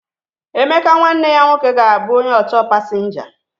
Emeka nwanne ya nwoke ga-abụ onye ọchọọ pasinja.